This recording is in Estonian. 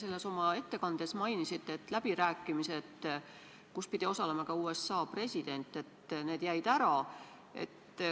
Te mainisite oma ettekandes, et läbirääkimised, kus pidi osalema ka USA president, jäid ära.